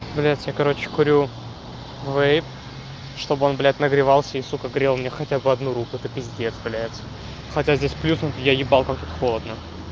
блять я короче курю вейп чтобы он блять нагревался и сука грел мне хотя бы одну руку это пиздец блять хотя здесь плюс я ебал как тут холодно